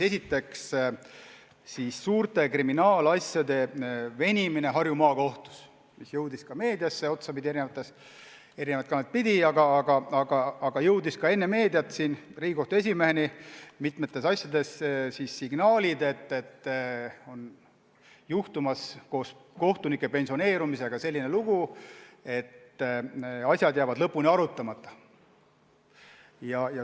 Esiteks, suurte kriminaalasjade venimine Harju Maakohtus, mis jõudis eri kanaleid pidi otsapidi ka meediasse, aga juba enne meediat jõudsid Riigikohtu esimeheni mitmete asjade puhul signaalid, et kohtunike pensioneerumise tõttu on juhtumas selline lugu, et asjad jäävad lõpuni arutamata.